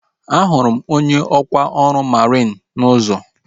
A hụrụ m onye ọkwa ọrụ mariin n'ụzọ